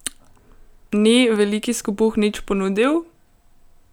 Ni Veliki skopuh nič ponudil?